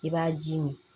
I b'a ji min